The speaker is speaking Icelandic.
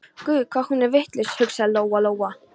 Guð hvað hún er vitlaus, hugsaði Lóa-Lóa.